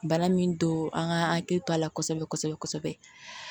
Bana min don an ka hakili to a la kosɛbɛ kosɛbɛ